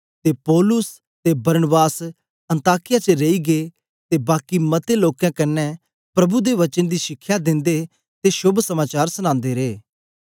ते पौलुस ते बरनबास अन्ताकिया च रेई गै ते बाकी मते लोकें कन्ने प्रभु दे वचन दी शिखया दिन्दे ते शोभ समाचार सनांदे रे